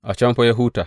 A can fa ya huta.